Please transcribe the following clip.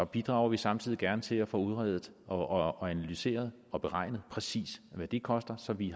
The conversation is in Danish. bidrager vi samtidig gerne til at få udredet og analyseret og beregnet præcis hvad det koster så vi